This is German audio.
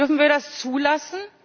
Dürfen wir das zulassen?